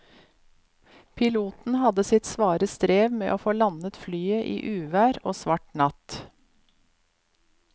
Piloten hadde sitt svare strev med å få landet flyet i uvær og svart natt.